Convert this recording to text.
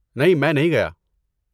نہیں، میں نہیں گیا۔